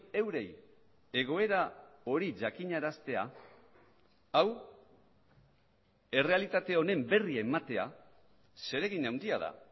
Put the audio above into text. eurei egoera hori jakinaraztea hau errealitate honen berri ematea zeregin handia da